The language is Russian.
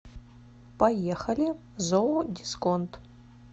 поехали зоодисконт